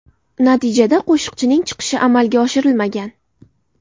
Natijada qo‘shiqchining chiqishi amalga oshirilmagan.